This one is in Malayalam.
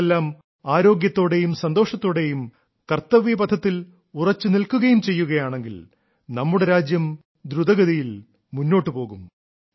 നിങ്ങളെല്ലാം ആരോഗ്യത്തോടെയും സന്തോഷത്തോടെയും കർത്തവ്യപഥത്തിൽ ഉറച്ചു നിൽക്കുകയും ചെയ്യുകയാണെങ്കിൽ നമ്മുടെ രാജ്യം ദ്രുതഗതിയിൽ മുന്നോട്ടു പോകും